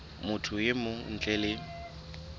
motho e mong ntle le